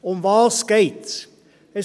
Worum geht es?